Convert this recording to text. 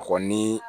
A kɔni